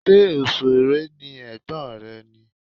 Ṣé òṣèré ni ẹ̀gbọ́n rẹ ni?